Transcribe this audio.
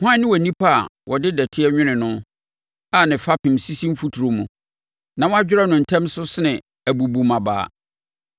hwan ne onipa a wɔde dɔteɛ anwene no, a ne fapem sisi mfuturo mu na wɔdwerɛ no ntɛm so sene abubummabaa?